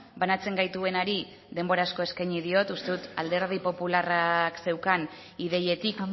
banatzen gaituenari denbora asko eskaini diot uste dut alderdi popularrak zeukan ideietik